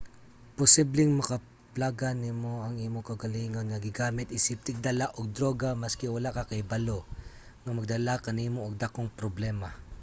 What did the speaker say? posibleng makaplagan nimo ang imong kaugalingon nga gigamit isip tigdala og druga maski wala ka kahibalo nga magdala kanimo og dakong problema